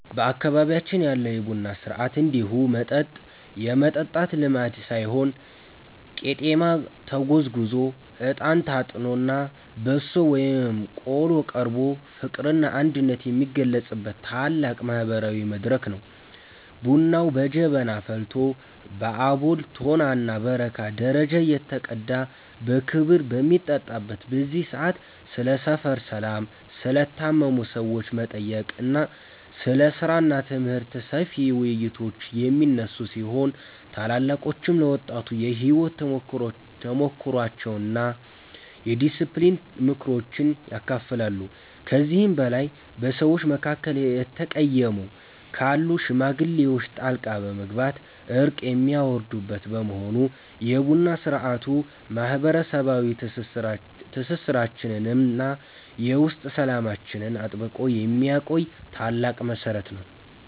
በአካባቢያችን ያለው የቡና ሥርዓት እንዲሁ መጠጥ የመጠጣት ልማድ ሳይሆን ቄጤማ ተጎዝጉዞ፣ እጣን ታጥኖና በሶ ወይም ቆሎ ቀርቦ ፍቅርና አንድነት የሚገለጽበት ታላቅ ማህበራዊ መድረክ ነው። ቡናው በጀበና ፈልቶ በአቦል፣ ቶናና በረካ ደረጃ እየተቀዳ በክብ በሚጠጣበት በዚህ ሰዓት፣ ስለ ሰፈር ሰላም፣ ስለ ታመሙ ሰዎች መጠየቅ፣ ስለ ሥራና ትምህርት ሰፊ ውይይቶች የሚነሱ ሲሆን፣ ታላላቆችም ለወጣቱ የሕይወት ተሞክሯቸውንና የዲስፕሊን ምክሮችን ያካፍላሉ። ከዚህም በላይ በሰዎች መካከል የተቀየሙ ካሉ ሽማግሌዎች ጣልቃ በመግባት እርቅ የሚያወርዱበት በመሆኑ፣ የቡና ሥርዓቱ ማህበረሰባዊ ትስስራችንንና የውስጥ ሰላማችንን አጥብቆ የሚያቆይ ታላቅ መሠረት ነው።